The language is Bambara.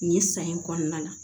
Nin san in kɔnɔna la